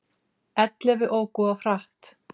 Ellefu óku of hratt